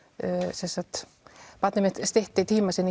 sem sagt barnið mitt stytti tímann sinn í